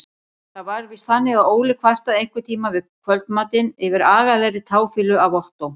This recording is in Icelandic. Það var víst þannig að Óli kvartaði einhverntíma við kvöldmatinn yfir agalegri táfýlu af Ottó.